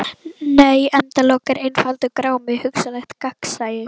Nei endalok eru einfaldur grámi: hugsanlegt gagnsæi.